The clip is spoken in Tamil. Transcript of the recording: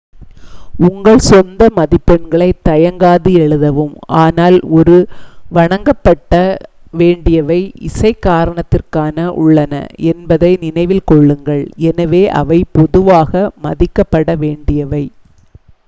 உங்கள் சொந்த மதிப்பெண்களை தயங்காது எழுதவும் ஆனால் ஒரு வணங்கப்படவேண்டியவை இசை காரணத்திற்காக உள்ளன என்பதை நினைவில் கொள்ளுங்கள் எனவே அவை பொதுவாக மதிக்கப்பட வேண்டியவை